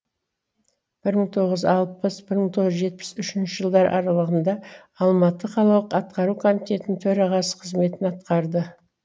бір мың тоғыз жүз алпыс бір мың тоғыз жүз жетпіс үшінші жылдар аралығында алматы қалалық атқару комитетінің төрағасы қызметін атқарды